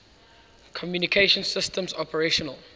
communication systems operational